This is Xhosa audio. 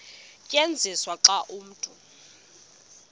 tyenziswa xa umntu